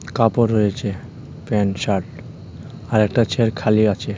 কাপড় রয়েছে pant shirt আর একটা চেয়ার খালি আছে.